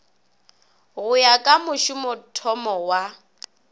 go ya ka mošomothomo wa